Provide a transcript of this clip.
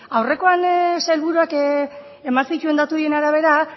aurrekoan sailburuak eman zituen datu horien arabera